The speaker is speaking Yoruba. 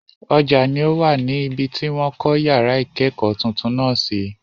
Ọjà ni o wà ní ibi tí wọ́n kọ́ yàrá ìkẹ́kọ̀ọ́ tuntun náà sí.